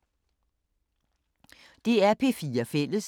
DR P4 Fælles